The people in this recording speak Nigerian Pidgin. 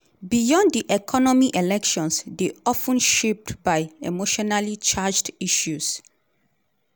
beyond di economy elections dey of ten shaped by emotionally-charged issues.